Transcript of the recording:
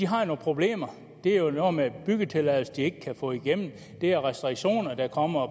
har nogle problemer det er noget med byggetilladelser de ikke kan få igennem det er restriktioner der kommer